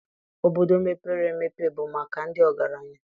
Obodo mepere emepe bụ maka ndị ọgaranya